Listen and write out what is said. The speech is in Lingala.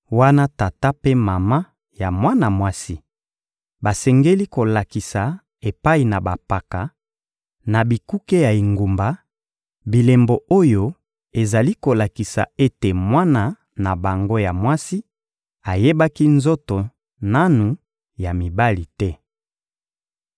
wana tata mpe mama ya mwana mwasi, basengeli kolakisa epai na bampaka, na bikuke ya engumba, bilembo oyo ezali kolakisa ete mwana na bango ya mwasi ayebaki nzoto nanu ya mibali te.